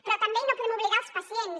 però també i no ho podem oblidar els pacients